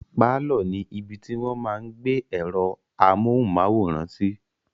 Pálọ̀ ní ibi tí wọ́n máa n gbé ẹ̀rọ amóhùnmáwòrán sí